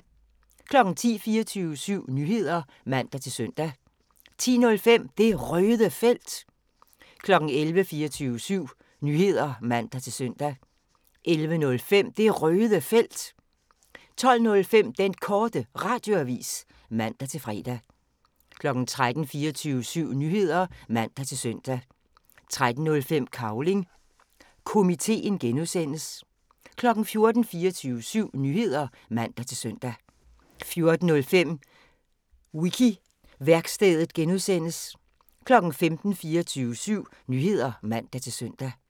10:00: 24syv Nyheder (man-søn) 10:05: Det Røde Felt 11:00: 24syv Nyheder (man-søn) 11:05: Det Røde Felt 12:05: Den Korte Radioavis (man-fre) 13:00: 24syv Nyheder (man-søn) 13:05: Cavling Komiteen (G) 14:00: 24syv Nyheder (man-søn) 14:05: Wiki-værkstedet (G) 15:00: 24syv Nyheder (man-søn)